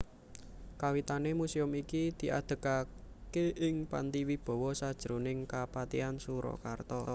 Kawitané muséum iki diadegaké ing Panti Wibawa sajroning Kapatihan Surakarta